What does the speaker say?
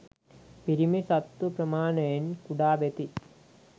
පිරිමි සත්තු ප්‍රමාණයෙන් කුඩා වෙති.